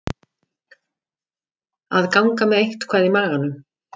Að ganga með eitthvað í maganum